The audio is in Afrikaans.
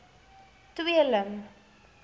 tweeling